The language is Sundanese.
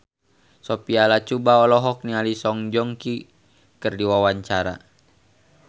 Sophia Latjuba olohok ningali Song Joong Ki keur diwawancara